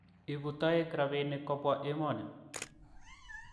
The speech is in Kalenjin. Ibu toek robinik kobwa emoni